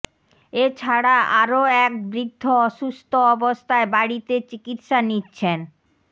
এছাড়া আরও এক বৃদ্ধ অসুস্থ অবস্থায় বাড়িতে চিকিৎসা নিচ্ছেন